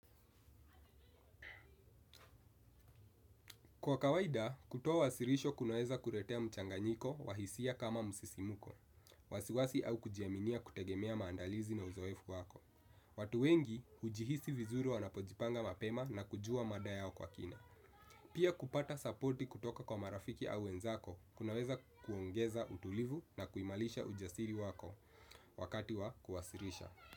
Kwa kawaida, kutoa wasilisho kunaweza kuletea mchanganyiko wa hisia kama musisimuko. Wasiwasi au kujiaminia kutegemea maandalizi na uzoefu wako. Watu wengi, hujihisi vizuri wanapojipanga mapema na kujua mada yao kwa kina. Pia kupata supporti kutoka kwa marafiki au wenzako, kunaweza kuongeza utulivu na kuimalisha ujasiri wako wakati wa kuwasilisha.